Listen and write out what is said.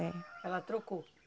É. Ela trocou?